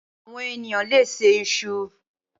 Awòn éniyàn lé sé iṣú